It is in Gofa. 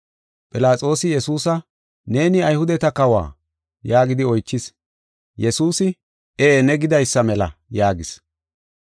Philaxoosi Yesuusa, “Neeni Ayhudeta kawo?” yaagidi oychis. Yesuusi, “Ee, ne gidaysa mela” yaagis.